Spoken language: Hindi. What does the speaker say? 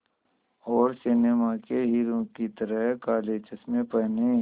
और सिनेमा के हीरो की तरह काले चश्मे पहने